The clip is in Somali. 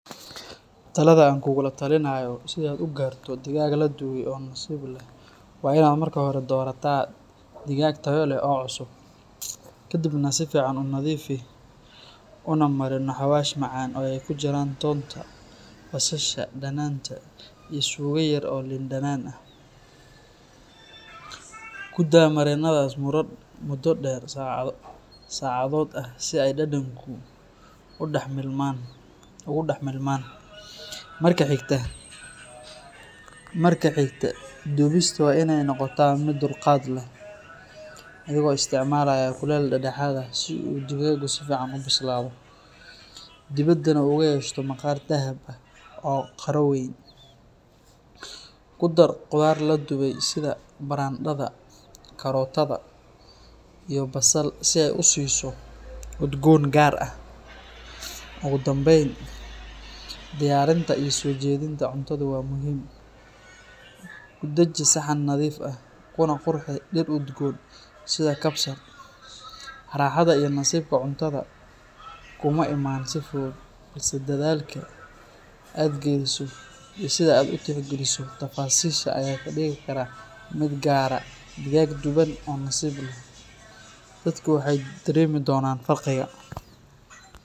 Talada aan kugula taliyayo si aad u gaarto digaag la dubay oo nasiib leh waa inaad marka hore doorataa digaag tayo leh oo cusub. Ka dibna si fiican u nadiifi, una marinno xawaash macaan oo ay ku jiraan toonta, basasha, dhanaanta, iyo suugo yar oo liin dhanaan ah. Ku daa marinadaas muddo dhowr saacadood ah si ay dhadhanka ugu dhex milmaan. Marka xigta, dubista waa inay noqotaa mid dulqaad leh, adigoo isticmaalaya kulayl dhexdhexaad ah si uu digaagu si fiican u bislaado, dibaddana uu uga yeesho maqaar dahab ah oo qaro weyn. Ku dar khudaar la dubay sida barandhada, kaarootada iyo basal si ay u siiso udgoon gaar ah. Ugu dambayn, diyaarinta iyo soo jeedinta cuntada waa muhiim. Ku dhaji saxan nadiif ah, kuna qurxi dhir udgoon sida kabsar. Raaxada iyo nasiibka cuntada kuma imaan si fudud, balse dadaalka aad geliso iyo sida aad u tixgeliso tafaasiisha ayaa kaa dhigi kara mid gaara digaag duban oo nasiib leh. Dadku way dareemi doonaan farqiga